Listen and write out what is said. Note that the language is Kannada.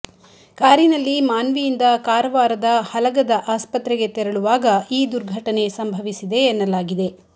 ಕಾರಿನಲ್ಲಿ ಮಾನ್ವಿಯಿಂದ ಕಾರವಾರದ ಹಲಗದ ಆಸ್ಪತ್ರೆಗೆ ತೆರಳುವಾಗ ಈ ದುರ್ಘಟನೆ ಸಂಭವಿಸಿದೆ ಎನ್ನಲಾಗಿದೆ